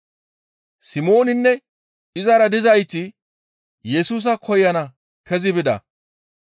Simooninne izara dizayti Yesusa koyana kezi bida.